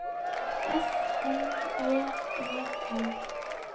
S N E E N